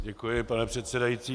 Děkuji, pane předsedající.